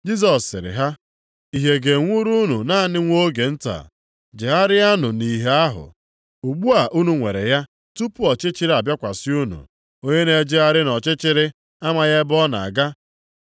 Jisọs sịrị ha, “Ìhè ga-enwuru unu naanị nwa oge nta. Jegharịanụ nʼìhè a, ugbu a unu nwere ya, tupu ọchịchịrị abịakwasị unu. Onye na-ejegharị nʼọchịchịrị amaghị ebe ọ na-aga.